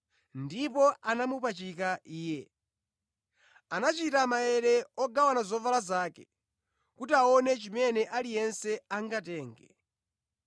Ndipo anamupachika Iye. Anachita maere ogawana zovala zake kuti aone chimene aliyense angatenge.